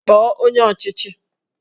Kpọọ onye ọchịchị!